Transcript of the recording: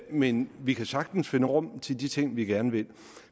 men vi kan sagtens finde rum til de ting vi gerne vil